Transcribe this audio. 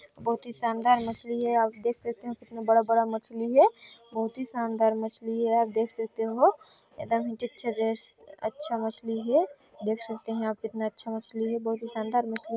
बहुत की शानदार मछली है आप देख सकते हो कितना बड़ा-बड़ा मछली है बहुत ही शानदार मछली है आप देख सकते हो एकदम अच्छा मछली है देख सकते है आप कितना अच्छा मछली है बहुत ही शानदार मछली है।